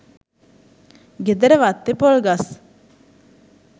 ගෙදර වත්තේ පොල් ගස්